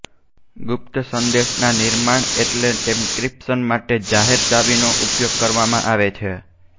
ગુપ્ત સંદેશાનાં નિર્માણ એટલે કે એન્ક્રિપ્શન માટે જાહેર ચાવી નો ઉપયોગ કરવામાં આવે છે